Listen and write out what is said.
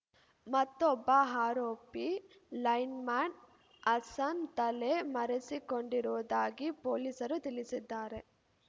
ಮತ್ತೊಬ್ಬ ಆರೋಪಿ ಲೈನ್‌ಮ್ಯಾನ್‌ ಹಸನ್‌ ತಲೆ ಮರೆಸಿಕೊಂಡಿರುವುದಾಗಿ ಪೊಲೀಸರು ತಿಳಿಸಿದ್ದಾರೆ